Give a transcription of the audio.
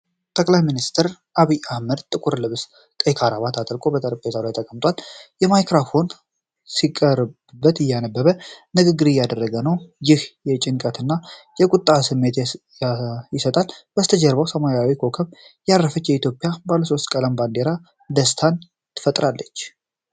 ጠቅላይ ሚንስተር አብይ አህመድ ጥቁር ልብስና ቀይ ክራባት አጥልቆ በጠረጴዛ ላይ ተቀምጧል። ማይክሮፎን ሲቀርብለት፣ እያነበበ ንግግር እያደረገ ነው፤ ይህም የጭንቀትን እና የቁጣን ስሜት ይሰጣል። ከበስተጀርባ በሰማያዊ ኮከብ ያረፈች የኢትዮጵያ ባለሶስት ቀለም ባንዲራ ደስታን ትፈጥራለች።